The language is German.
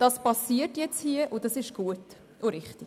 Das passiert jetzt, und das ist gut und richtig.